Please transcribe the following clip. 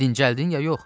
Dincəldin, ya yox?